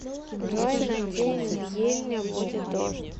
джой на день в ельня будет дождь